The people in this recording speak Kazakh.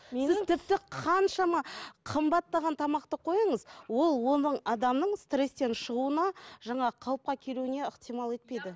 тіпті қаншама қымбаттаған тамақты қойыңыз ол оның адамның стресстен шығуына жаңағы қалыпқа келуіне ықтимал етпейді